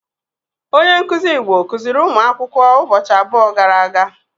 Onye nkuzi Igbo kuziri ụmụakwụkwọ ụbọchị abụọ gara aga.